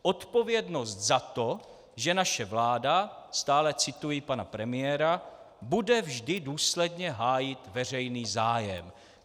Odpovědnost za to, že naše vláda - stále cituji pana premiéra - bude vždy důsledně hájit veřejný zájem.